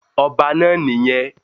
Ọba náà nì yẹn